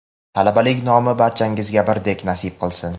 Talabalik nomi barchangizga birdek nasib qilsin.